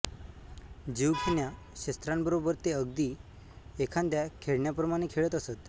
जीवघेण्या शस्त्रां बरोबर ते अगदी एखाद्या खेळण्याप्रमाणे खेळत असतं